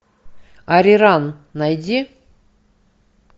ариран найди